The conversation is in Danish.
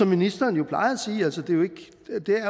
ministeren